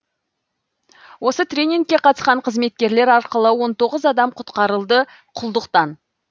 осы тренингке қатысқан қызметкерлер арқылы он тоғыз адам құтқарылды құлдықтан